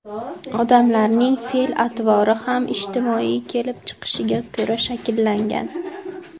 Odamlarning fe’l atvori ham ijtimoiy kelib chiqishiga ko‘ra shakllangan.